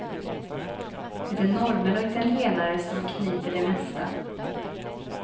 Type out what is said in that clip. Det är norrmän och italienare som kniper det mesta.